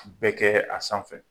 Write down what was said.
Bɛ kɛ, a sanfɛ.